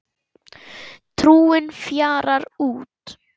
Trúin fjarar út